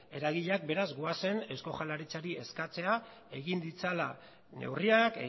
eragileak beraz goazen eusko jaurlaritzari eskatzera egin ditzala neurriak